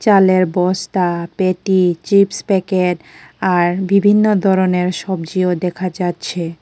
চালের বস্তা পেটি চিপস প্যাকেট আর বিভিন্ন ধরনের সবজিও দেখা যাচ্ছে।